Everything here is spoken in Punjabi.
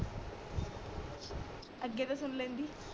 ਅਗੇ ਤਾ ਸੁਨ ਲੈਂਦੀ